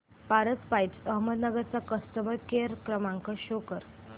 Paras pipes Ahmednagar चा customer care क्रमांक show करा